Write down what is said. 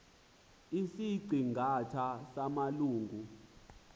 isiqi ngatha samalungu